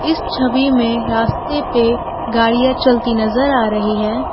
इस छवि में रास्ते पे गाड़ियां चलती नजर आ रही है।